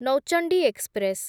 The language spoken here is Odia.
ନୌଚଣ୍ଡି ଏକ୍ସପ୍ରେସ୍‌